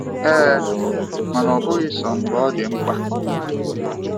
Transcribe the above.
Ee, mana ọbụghị sọọ mgbe ọ dị mkpa.